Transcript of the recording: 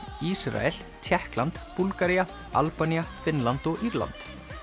Ísrael Tékkland Búlgaría Albanía Finnland og Írland